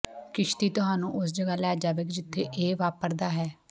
ਕਿਸ਼ਤੀ ਤੁਹਾਨੂੰ ਉਸ ਜਗ੍ਹਾ ਲੈ ਜਾਵੇਗੀ ਜਿੱਥੇ ਇਹ ਵਾਪਰਦਾ ਹੈ